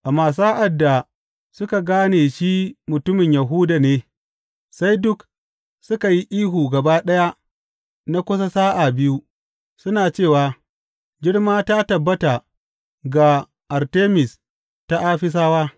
Amma sa’ad da suka gane shi mutumin Yahuda ne, sai duk suka yi ihu gaba ɗaya na kusa sa’a biyu, suna cewa, Girma ta tabbata ga Artemis ta Afisawa!